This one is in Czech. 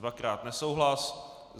Dvakrát nesouhlas.